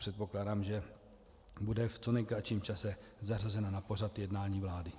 Předpokládám, že bude v co nejkratším čase zařazena na pořad jednání vlády.